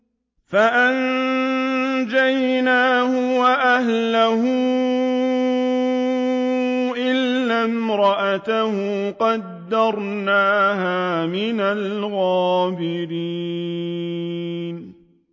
فَأَنجَيْنَاهُ وَأَهْلَهُ إِلَّا امْرَأَتَهُ قَدَّرْنَاهَا مِنَ الْغَابِرِينَ